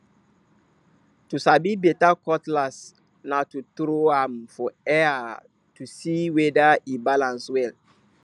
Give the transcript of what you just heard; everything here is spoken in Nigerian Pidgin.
to sabi beta cutlass na to tro am for air to see weda e balans well